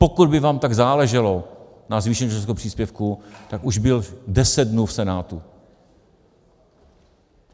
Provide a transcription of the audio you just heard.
Pokud by vám tak záleželo na zvýšení rodičovského příspěvku, tak už byl deset dnů v Senátu.